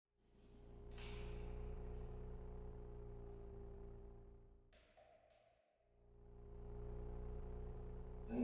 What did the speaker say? En hvað segja gestirnir sjálfir?